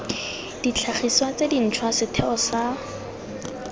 ditlhagiswa tse dintšhwa setheo sa